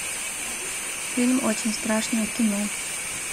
фильм очень страшное кино